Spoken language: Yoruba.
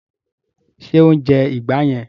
Ṣé o ń jẹ ìgbá yẹn?